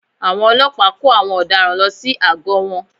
Àwọn ọlọ́pàá kó àwọn ọ̀daràn lọ sí àgọ́ wọn